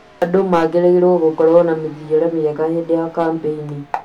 Andũ magĩrĩirũo gũkorũo na mĩthiĩre mĩega hĩndĩ ya kambĩini.